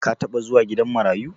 ka taba zuwa gidan marayu